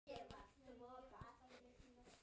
En fólk finnur mun.